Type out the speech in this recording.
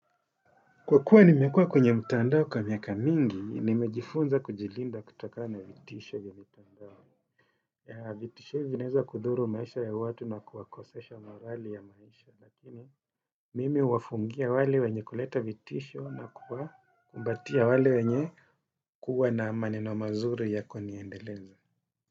Kwa kweli nimekuwa kwenye mtandao kwa miaka mingi, nimejifunza kujilinda kutokana na vitisho vya mitandao. Vitisho vinaweza kudhuru maisha ya watu na kuwakosesha morali ya maisha. Lakini mimi huwafungia wale wenye kuleta vitisho na kubatia wale wenye huwa na maneno mazuri ya kuniendeleza.